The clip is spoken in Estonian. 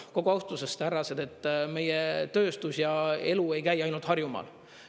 Kogu austuses, härrased, meie tööstus ja elu ei käi ainult Harjumaal.